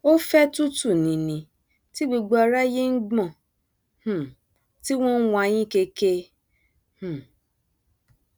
ó fẹ tútù nini tí gbogbo aráyé ń gbọn um tí wọn ń wayín keke um